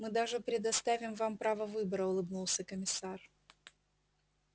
мы даже предоставим вам право выбора улыбнулся комиссар